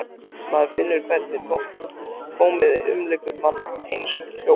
Maður finnur hvernig tómið umlykur mann, eins og hljóð.